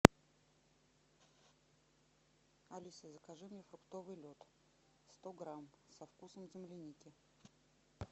алиса закажи мне фруктовый лед сто грамм со вкусом земляники